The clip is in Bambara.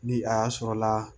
Ni a y'a sɔrɔla la